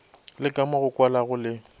le kamo go kwalago le